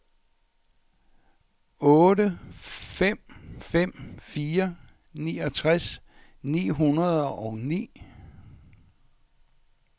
otte fem fem fire niogtres ni hundrede og ni